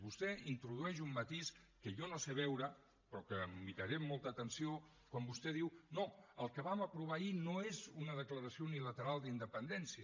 vostè introdueix un matís que jo no sé veure però que em miraré amb molta atenció quan vostè diu no el que vam aprovar ahir no és una declaració unilateral d’independència